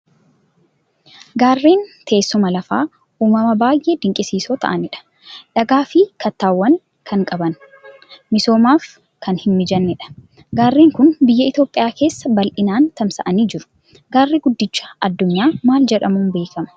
Gaarreen teessuma lafaa, uumama baay'ee dinqisiisoo ta'anidha. Dhagaa fi kattaawwan kan qaban, misoomsuuf kan hin mijannedha. Gaarreen kun biyya Itoophiyaa keessa bal'inaan tamsa'anii jiru. Gaarri guddicha addunyaa maal jedhamuun beekama?